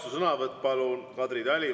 Vastusõnavõtt palun, Kadri Tali!